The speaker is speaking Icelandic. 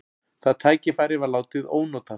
Það tækifæri var látið ónotað.